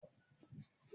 Bẹ́ẹ̀ni, yóò mu Fáńtà.